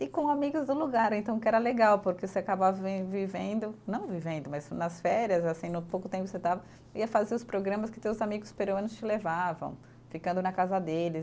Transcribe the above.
E com amigos do lugar, então, que era legal, porque você acabava vem, vivendo, não vivendo, mas nas férias, assim, no pouco tempo que você estava, ia fazer os programas que teus amigos peruanos te levavam, ficando na casa deles.